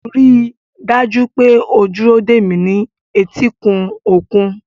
Rí i dájú pé o dúró dè mí ní etíkun òkun.